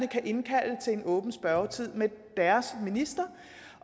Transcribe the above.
kan indkalde til en åben spørgetime med deres minister